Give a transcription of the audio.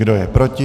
Kdo je proti?